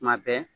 Tuma bɛɛ